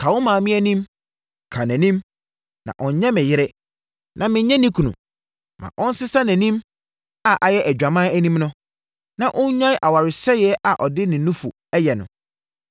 “Ka wo maame anim, ka nʼanim, na ɔnnyɛ me yere na mennyɛ ne kunu. Ma ɔnsesa nʼanim a ayɛ adwaman anim no na ɔnnyae awaresɛeɛ a ɔde ne nufu yɛ no.